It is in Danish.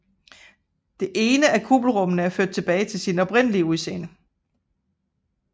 Det ene af kuppelrummene er ført tilbage til sit oprindelige udseende